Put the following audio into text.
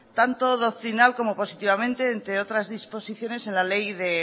tanto doctrinado como positivamente entre otras disposiciones en la ley de